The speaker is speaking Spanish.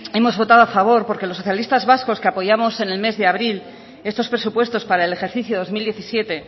hemos votado a favor porque los socialistas vascos que apoyamos en el mes de abril estos presupuestos para el ejercicio dos mil diecisiete